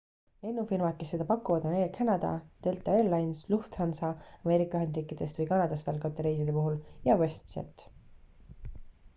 lennufirmad kes seda pakuvad on air canada delta air lines lufthansa ameerika ühendriikidest või kanadast algavate reiside puhul ja westjet